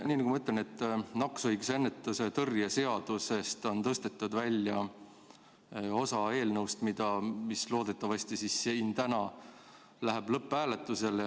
Nii nagu ma ütlesin, nakkushaiguste ennetamise ja tõrje seaduse eelnõust, mis täna loodetavasti läheb lõpphääletusele, on osa välja tõstetud.